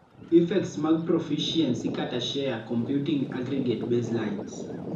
Effects mag profficiency (share) computing aggregate baselines